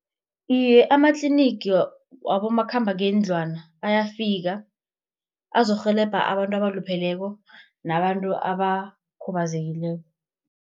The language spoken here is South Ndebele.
Iye amatlinigi wabomakhambangendlwana ayafika azokurhelebha abantu abalupheleko nabantu abakhubazekileko.